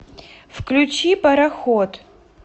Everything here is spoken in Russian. включи пароход